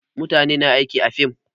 Mutane na aiki a fim